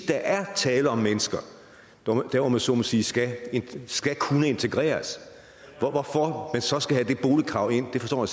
der er tale om mennesker der om jeg så må sige skal skal kunne integreres hvorfor man så skal have det boligkrav ind forstår